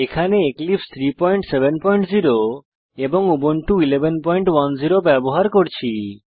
এখানে এক্লিপসে 370 এবং উবুন্টু 1110 ব্যবহার করছি